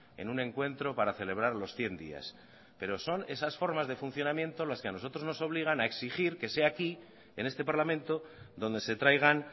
en un encuentro para celebrar los cien días pero son esas formas de funcionamiento las que a nosotros nos obligan a exigir que sea aquí en este parlamento donde se traigan